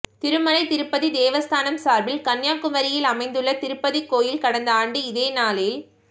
திருமலை திருப்பதி தேவஸ்தானம் சாா்பில் கன்னியாகுமரியில் அமைந்துள்ள திருப்பதி கோயில் கடந்த ஆண்டு இதேநாளில்